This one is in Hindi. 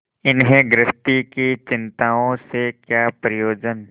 इन्हें गृहस्थी की चिंताओं से क्या प्रयोजन